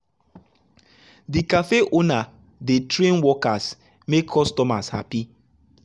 the café owner dey train workers make customers happy.